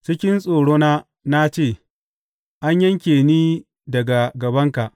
Cikin tsorona na ce, An yanke ni daga gabanka!